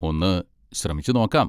ഒന്ന് ശ്രമിച്ച് നോക്കാം.